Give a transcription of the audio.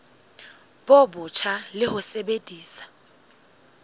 bo botjha le ho sebedisa